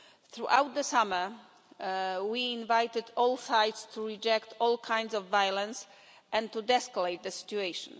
Throughout the summer, we invited all sides to reject all kinds of violence and to de escalate the situation.